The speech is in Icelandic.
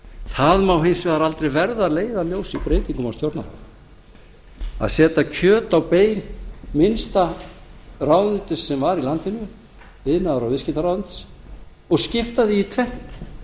það má hins vegar aldrei verða að leiðarljósi í breytingum á stjórnarráðinu að setja kjöt á bein minnsta ráðuneytisins sem var í landinu iðnaðar og viðskiptaráðuneytis og skipta því í tvennt